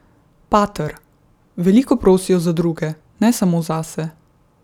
Pater: "Veliko prosijo za druge, ne samo zase.